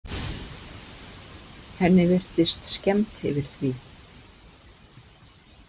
Henni virtist skemmt yfir því.